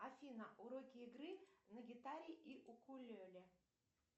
афина уроки игры на гитаре и укулеле